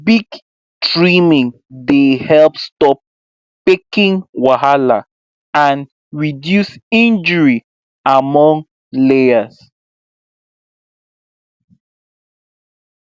beak trimming dey help stop pecking wahala and reduce injury among layers